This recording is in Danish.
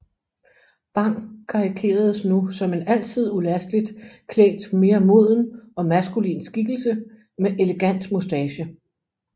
Bang karikeredes nu som en altid ulasteligt klædt mere moden og maskulin skikkelse med elegant moustache